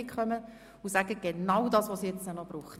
Sagen Sie nur noch genau das, was es braucht.